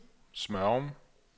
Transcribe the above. Smørum